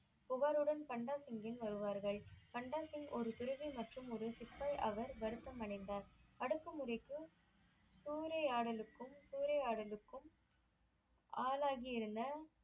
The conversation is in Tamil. புகாருடன் பாண்டா சிங்கின் வாருவார்கள் பாண்டா சிங் ஒரு துறவி மற்றும் ஒரு சித்தர் வருத்தம் அடைந்தார் அடுக்கு முறைக்கும் சூரையாடலுக்கும் சூரையாடலுக்கும் ஆளாகி இருந்த